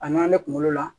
A ɲan ne kunkolo la